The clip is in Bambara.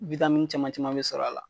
caman caman be sɔr'a la.